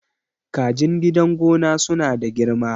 kajin gidan gona suna da girma